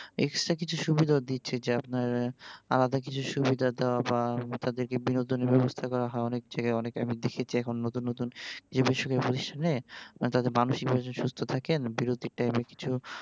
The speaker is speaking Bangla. extra কিছু সুবিধাও দিচ্ছে যা আপনার আলাদা কিছু সুবিধা দেয়া বা তাদেরকে বিনোদনের ব্যাবস্থা করা অনেকজায়গায় আমি দেখেছি এখন নতুন নতুন তাদের মানসিক ভাবে সুস্থ থাকেন বিরতির time কিছু